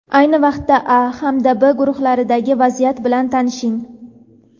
Ayni vaqtda "A" hamda "B" guruhlaridagi vaziyat bilan tanishing.